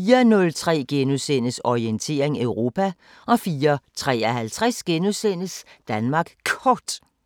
04:03: Orientering Europa * 04:53: Danmark Kort *